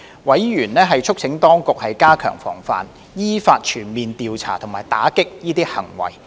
委員促請當局加強防範，依法全面調查及打擊這些行為。